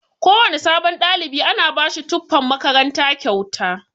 Kowana sabon ɗalibi ana bashi tufan makaranta kyauta.